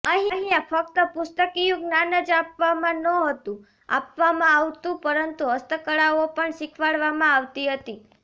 અહીંયાં ફક્ત પુસ્તકીયુ જ્ઞાન જ આપવામાં નહોતું આપવામાં આવતુ પરંતુ હસ્તકળાઓ પણ શીખવાડવામાં આવતી હતી